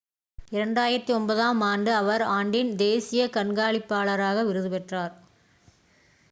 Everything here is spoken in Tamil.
2009 ஆம் ஆண்டு அவர் ஆண்டின் தேசிய கண்காணிப்பாளராக விருது பெற்றார்